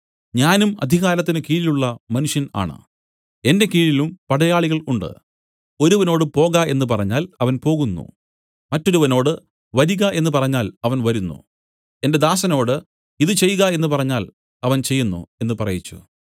ഞാനും അധികാരത്തിന് കീഴിലുള്ള മനുഷ്യൻ ആണ് എന്റെ കീഴിലും പടയാളികൾ ഉണ്ട് ഒരുവനോട് പോക എന്നു പറഞ്ഞാൽ അവൻ പോകുന്നു മറ്റൊരുവനോട് വരിക എന്നു പറഞ്ഞാൽ അവൻ വരുന്നു എന്റെ ദാസനോട് ഇതു ചെയ്ക എന്നു പറഞ്ഞാൽ അവൻ ചെയ്യുന്നു എന്നു പറയിച്ചു